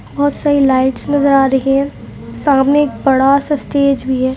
भोत सारी लाईट नजर आ रहीं हैं सामने एक बड़ा सा स्टेज भी है ।